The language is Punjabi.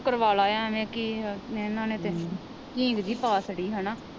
ਉਹ ਕਰਵਾਲਾ ਐਵੇ ਕੀ ਆ ਇਹਨਾਂ ਨੇ ਤਾ ਹੀਂਗ ਜੀ ਪਾ ਛੱਡੀ ਹੇਨਾ।